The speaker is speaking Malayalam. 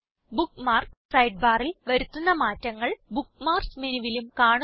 ബുക്ക്മാർക്സ് സൈഡ്ബാർ ൽ വരുത്തുന്ന മാറ്റങ്ങൾ ബുക്ക്മാർക്സ് മെനുവിലും കാണുന്നു